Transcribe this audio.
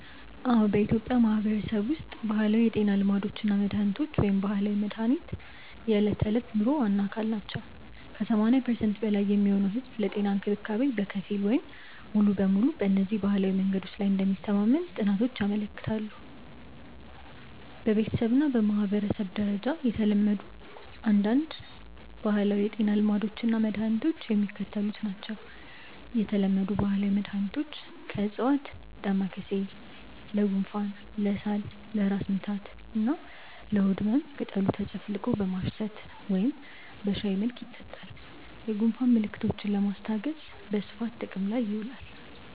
አዎ፣ በኢትዮጵያ ማህበረሰብ ውስጥ ባህላዊ የጤና ልማዶች እና መድሃኒቶች (ባህላዊ መድሃኒት) የዕለት ተዕለት ኑሮ ዋና አካል ናቸው። ከ80% በላይ የሚሆነው ህዝብ ለጤና እንክብካቤ በከፊል ወይም ሙሉ በሙሉ በእነዚህ ባህላዊ መንገዶች ላይ እንደሚተማመን ጥናቶች ያመለክታሉ። በቤተሰብ እና በማህበረሰብ ደረጃ የተለመዱ አንዳንድ ባህላዊ የጤና ልማዶች እና መድኃኒቶች የሚከተሉት ናቸው የተለመዱ ባህላዊ መድኃኒቶች (ከዕፅዋት) ደማካሴ (Ocimum lamiifolium): ለጉንፋን፣ ለሳል፣ ለራስ ምታት እና ለሆድ ህመም ቅጠሉ ተጨፍልቆ በማሽተት ወይም በሻይ መልክ ይጠጣል። የጉንፋን ምልክቶችን ለማስታገስ በስፋት ጥቅም ላይ ይውላል።